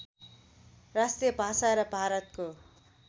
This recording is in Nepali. राष्ट्रिय भाषा र भारतको